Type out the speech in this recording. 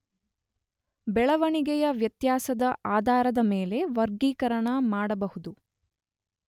ಬೆಳವಣಿಗೆಯ ವ್ಯತ್ಯಾಸದ ಆಧಾರದ ಮೇಲೆ ವರ್ಗೀಕರಣ ಮಾಡಬಹುದು.